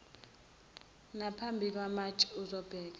naphambi kwemantshi ezobheka